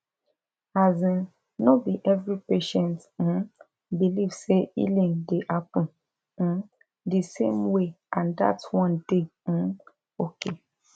asin no be every patient um believe say healing dey happen um di same way and that one dey um okay